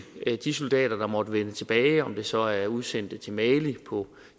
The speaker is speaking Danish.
at de soldater der måtte vende tilbage om det så er udsendte til mali på